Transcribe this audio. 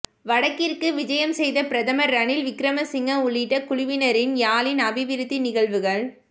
வடக்கிற்கு விஜயம் செய்த பிரதமர் ரணில் விக்கிரமசிங்க உள்ளிட்ட குழுவினரின் யாழின் அபிவிருத்தி நிகழ்வுகள்